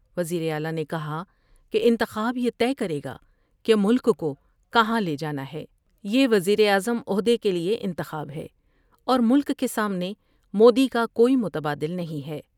وزیر اعلی نے کہا کہ انتخاب یہ طے کرے گا کہ ملک کو کہاں لے جانا ہے یہ وزیر اعظم عہدے کے لئے انتخاب ہے ، اور ملک کے سامنے مودی کا کوئی متبادل نہیں ہے ۔